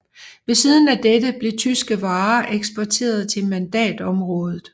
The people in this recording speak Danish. Ved siden af dette blev tyske varer eksporterede til mandatområdet